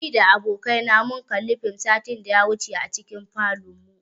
Ni da abokai na mun kalli fim satin da ya wuce a cikin falonmu.